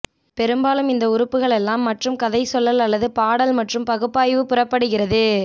பெரும்பாலும் இந்த உறுப்புகள் எல்லாம் மற்றும் கதைசொல்லல் அல்லது பாடல் மற்றும் பகுப்பாய்வு புறப்படுகிறது